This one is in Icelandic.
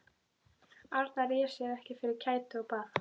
Arnar réð sér ekki fyrir kæti og bað